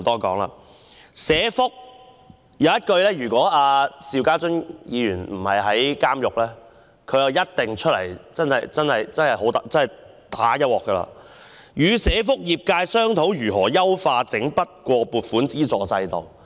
就社會福利——要是邵家臻議員不是正在監獄服刑，他一定出來"打一鑊"——她在單張中提出"與社福界商討如何優化整筆撥款資助制度"。